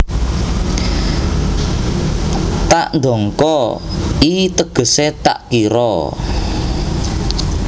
Tak nDangka i tegese tak kiro